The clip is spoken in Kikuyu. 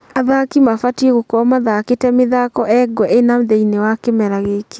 Athaki maabatiĩ gũkorwo mathakĩte mĩthako engwe ĩna thĩini wa kĩmera gĩkĩ